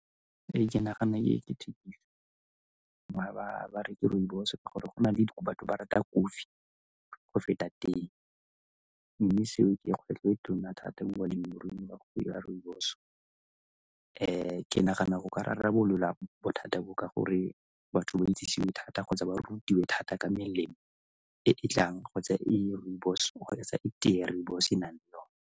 Ee, ke nagana e ke ba reke rooibos ka gore go na le batho ba rata kofi go feta tee mme seo ke ke kgwetlho e tona thata mo balemiruing ba go rooibos. ke nagana go ka rarabololwa bothata bo ka gore batho ba itsisiwe thata kgotsa ba rutiwe thata ka melemo e e tlang kgotsa e e rooibos go etsa tee ya rooibos e e na leng yona.